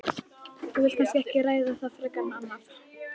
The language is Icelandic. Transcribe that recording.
Þú vilt kannski ekki ræða það frekar en annað?